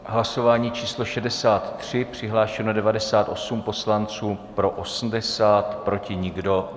Hlasování číslo 63, přihlášeno 98 poslanců, pro 80, proti nikdo.